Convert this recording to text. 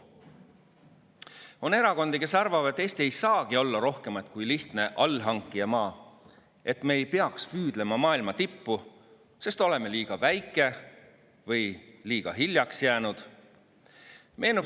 On erakondi, kes arvavad, et Eesti ei saagi olla rohkemat kui lihtne allhankijamaa, et me ei peaks püüdlema maailma tippu, sest oleme liiga väike või liiga hiljaks jäänud.